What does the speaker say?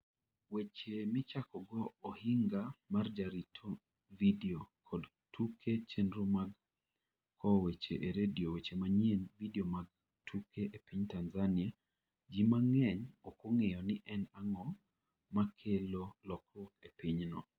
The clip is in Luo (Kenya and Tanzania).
Weche Michakogo Ohinga mar Jarito Vidio kod Tuke Chenro mag Kowo Weche e Radio Weche Manyien Vidio mag Tuke E piny Tanzania, ji mang'eny ok ong'eyo ni en ang'o makelo lokruok e pinyno.